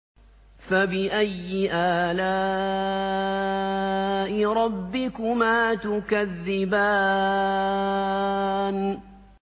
فَبِأَيِّ آلَاءِ رَبِّكُمَا تُكَذِّبَانِ